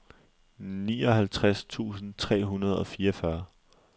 nioghalvtreds tusind tre hundrede og fireogfyrre